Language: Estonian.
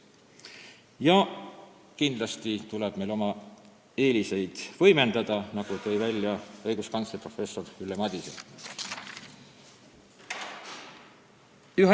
Ja kindlasti tuleb meil oma eeliseid võimendada, nagu tõi välja õiguskantsler professor Ülle Madise.